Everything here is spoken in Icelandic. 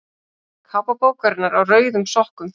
Kápa bókarinnar Á rauðum sokkum.